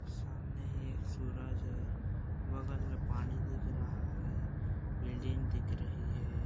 सामने एक सूरज है बगल में पानी दिख रहा है बिल्डिंग दिख रही है।